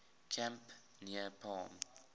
camp near palm